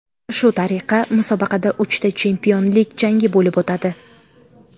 Shu tariqa musobaqada uchta chempionlik jangi bo‘lib o‘tadi.